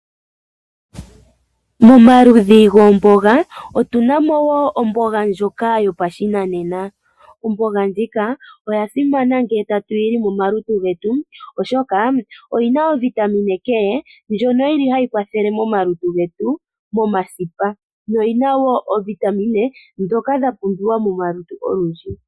Momaludhi goombaanga otuna mo woo omboga ndjoka yopashinanena. Omboga ndjoka oya simana ngele tatu yi li momalutu getu oshoka oyina o vitamine K ndjono yili hayi kwathele momalutu getu momasipa. Noyina woo oovitamine ndhoka dha pumbiwa momalutu getu olundji.